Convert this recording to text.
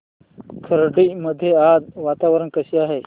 खर्डी मध्ये आज वातावरण कसे आहे